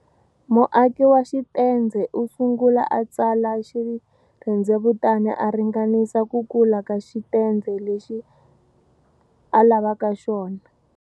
Muaki wa xitendze u sungula a tsala xirhendzevutana a ringanisa ku kula ka xitendze lexi a lavaka xona.